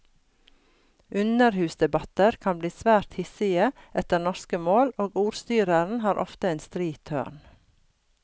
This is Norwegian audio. Underhusdebatter kan bli svært hissige etter norske mål, og ordstyreren har ofte en stri tørn.